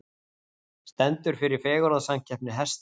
Stendur fyrir fegurðarsamkeppni hesta